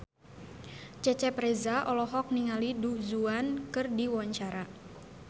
Cecep Reza olohok ningali Du Juan keur diwawancara